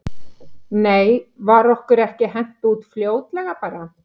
Nei var okkur ekki hent út fljótlega bara?